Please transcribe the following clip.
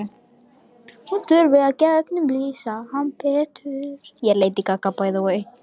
Hún þurfi að gegnumlýsa hann betur.